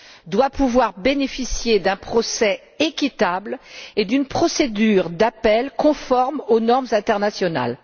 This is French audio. doit pouvoir bénéficier d'un procès équitable et d'une procédure d'appel conforme aux normes internationales.